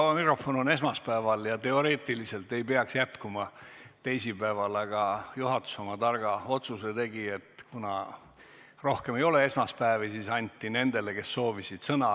Vaba mikrofon on esmaspäeval ja teoreetiliselt ei peaks jätkuma teisipäeval, aga juhatus oma targa otsuse tegi, et kuna rohkem ei ole esmaspäevi, siis anti nendele, kes soovisid, sõna.